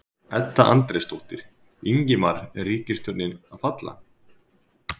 Edda Andrésdóttir: Ingimar er ríkisstjórnin að falla?